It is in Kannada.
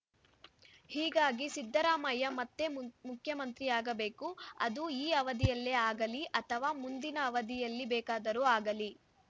ಹೀಗಾಗಿ ಸಿದ್ದರಾಮಯ್ಯ ಮತ್ತೆ ಮು ಮುಖ್ಯಮಂತ್ರಿಯಾಗಬೇಕು ಅದು ಈ ಅವಧಿಯಲ್ಲೇ ಆಗಲಿ ಅಥವಾ ಮುಂದಿನ ಅವಧಿಯಲ್ಲಿ ಬೇಕಾದರೂ ಆಗಲಿ